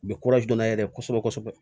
U bɛ n'a yɛrɛ kosɛbɛ kosɛbɛ